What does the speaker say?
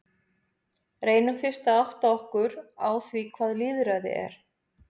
Reynum fyrst að átta okkur á því hvað lýðræði er.